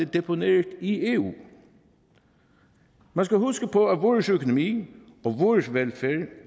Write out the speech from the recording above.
deponeret i eu man skal huske på at vores økonomi og vores velfærd